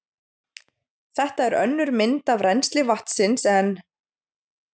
Þetta er önnur mynd af rennsli vatnsins en